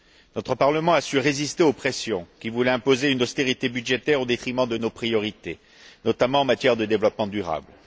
Notre Parlement a su résister aux pressions qui voulaient imposer une austérité budgétaire au détriment de nos priorités, notamment en matière de développement durable.